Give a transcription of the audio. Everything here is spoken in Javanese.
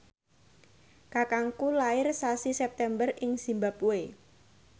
kakangku lair sasi September ing zimbabwe